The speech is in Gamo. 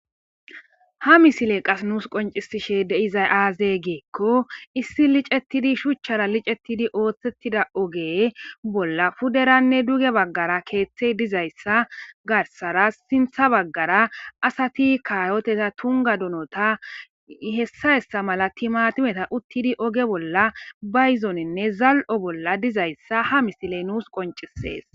Ha misile qas nuus qoncisishe deizay aaze geekko issi licettidi shuchchara licettidi ooththettida oge bolla puderanne duge baggara keeththe dizayssa garsara sintha baggara asati kayoteta tunga donota hessa hessa mala timatimeta uttidi oge bolla bayzoninne zal'o bolla dizayssa ha misile nuus qoncisees.